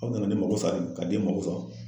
Aw nana ne mako sa, ka den mako sa.